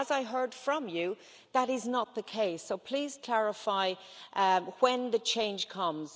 But, as I heard from you, that is not the case, so please clarify when the change comes.